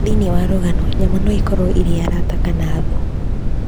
Thĩinĩ wa ng'ano, nyamũ no ikorũo irĩ arata kana thũ.